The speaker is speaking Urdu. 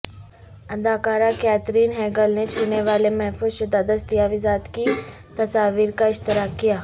اداکارہ کیتھرین ہیگل نے چھونے والے محفوظ شدہ دستاویزات کی تصاویر کا اشتراک کیا